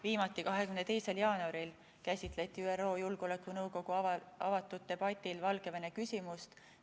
Viimati 22. jaanuaril käsitleti ÜRO Julgeolekunõukogu avatud debatil Valgevene küsimust.